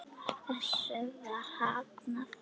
Þessu var hafnað.